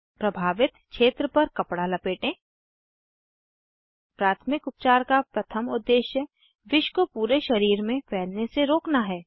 प्रभावित क्षेत्र पर कपडा लपेटें प्राथमिक उपचार का प्रथम उद्देश्य विष को पूरे शरीर में फैलने से रोकना है